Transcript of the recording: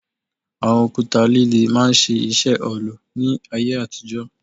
Àwọn òkúta líle máa ń ṣiṣẹ́ òòlù ní ayé àtijọ́